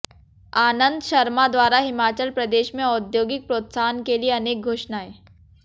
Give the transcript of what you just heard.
आनंद शर्मा द्वारा हिमाचल प्रदेश में औद्योगिक प्रोत्साहन के लिए अनेक घोषणाएं